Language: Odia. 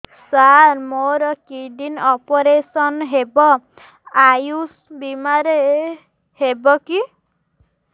ସାର ମୋର କିଡ଼ନୀ ଅପେରସନ ହେବ ଆୟୁଷ ବିମାରେ ହେବ କି